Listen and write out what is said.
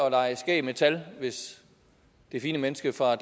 at lege skæg med tal hvis det fine menneske fra